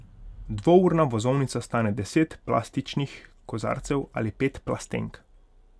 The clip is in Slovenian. Dvourna vozovnica stane deset plastičnih kozarcev ali pet plastenk.